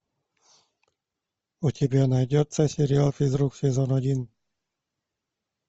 у тебя найдется сериал физрук сезон один